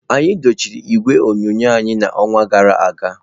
Anyị dochie igwe onyonyo anyị n'ọnwa gara aga.